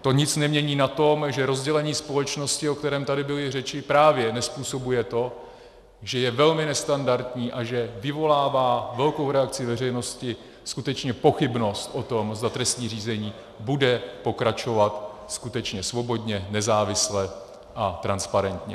To nic nemění na tom, že rozdělení společnosti, o kterém tady byly řeči, právě nezpůsobuje to, že je velmi nestandardní a že vyvolává velkou reakci veřejnosti skutečně pochybnost o tom, zda trestní řízení bude pokračovat skutečně svobodně, nezávisle a transparentně.